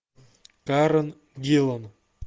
карен гиллан